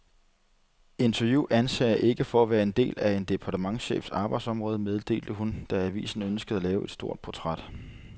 Interview anser jeg ikke for at være en del af en departementschefs arbejdsområde, meddelte hun, da avisen ønskede at lave et stort portræt.